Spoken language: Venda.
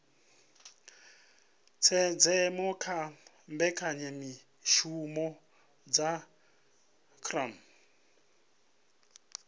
tshenzhemo kha mbekanyamishumo dza cbnrm